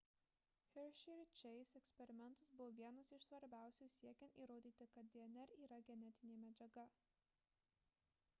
hershey ir chase eksperimentas buvo vienas iš svarbiausių siekiant įrodyti kad dnr yra genetinė medžiaga